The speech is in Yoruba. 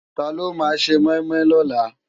Tàló má sé moimoi lòlá?